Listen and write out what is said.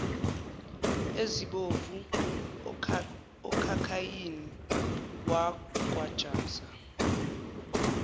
ezibovu okhakhayini wagwajaza